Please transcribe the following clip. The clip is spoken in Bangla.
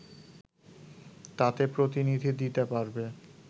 তাতে প্রতিনিধি দিতে পারবে